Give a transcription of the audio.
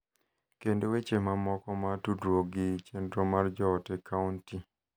kendo weche mamoko ma tudruok gi chenro mar joot e kaonti.